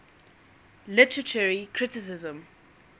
literary criticism